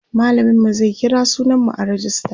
mallamin mu zai kira sunan mu a rejista